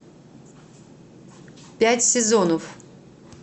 пять сезонов